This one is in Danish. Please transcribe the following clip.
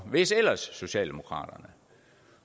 hvis ellers socialdemokraterne